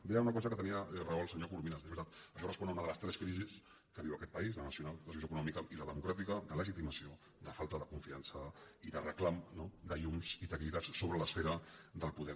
deia una cosa que tenia raó el senyor corominas és veritat això respon a una de les tres crisis que viu aquest país la nacional la socioeconòmica i la democràtica de legitimació de falta de confiança i de reclam no de llums i taquígrafs sobre l’esfera del poder